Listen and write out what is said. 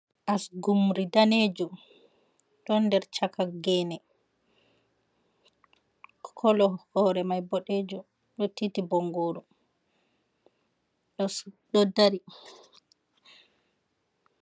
Asugurmi daneejum ɗon nder caka geene, kolo hoore mai boɗejum, ɗo tiiti bongoru ɗo dari.